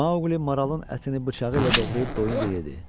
Maoqli maralın ətini bıçağı ilə doğrayıb doyuncayedi.